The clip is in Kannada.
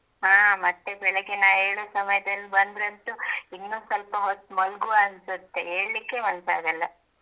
ಹಾಂ ಮತ್ತೆ ಬೆಳಿಗ್ಗೆ ನಾ ಏಳುವ ಸಮಯದಲ್ಲಿ ಬಂದ್ರಂತೂ ಇನ್ನೂ ಸ್ವಲ್ಪ ಹೊತ್ತು ಮಲಗುವ ಅನ್ಸುತ್ತೆ ಏಳ್ಲಿಕ್ಕೆ ಮನಸಾಗಲ್ಲ.